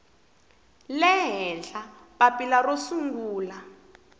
le henhla papila ro sungula